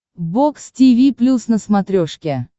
бокс тиви плюс на смотрешке